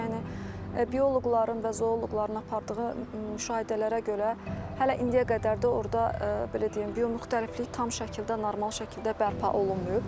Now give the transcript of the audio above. Yəni bioloqların və zooloqların apardığı müşahidələrə görə hələ indiyə qədər də orda belə deyim, biomüxtəliflik tam şəkildə, normal şəkildə bərpa olunmayıb.